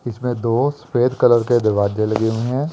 इसमें दो सफेद कलर के दरवाजे लगे हुए हैं।